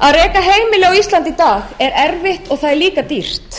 að reka heimili á íslandi í dag er erfitt og það er líka dýrt fyrst vil ég